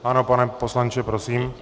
Ano, pane poslanče, prosím.